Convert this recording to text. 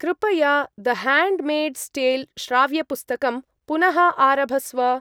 कृपया द-ह्याण्ड्मेड्स्‌-टेल्‌-श्राव्यपुस्तकं पुनः आरभस्व।